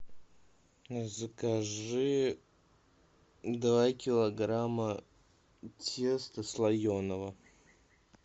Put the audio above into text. закажи два килограмма теста слоеного